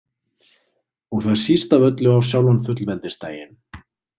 Og það síst af öllu á sjálfan fullveldisdaginn.